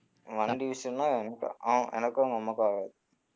வண்டி விஷயன்னா எனக்கும் அ~ எனக்கும் அவுங்க அம்மாக்கும் ஆகாது